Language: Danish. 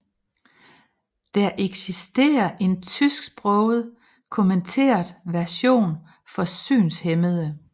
Der eksisterer en tysksproget kommenteret version for synshæmmede